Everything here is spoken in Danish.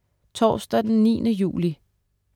Torsdag den 9. juli